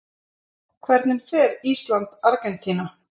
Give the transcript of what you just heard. Hvernig fer Ísland- Argentína?